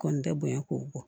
Kɔni tɛ bonya ko kɔ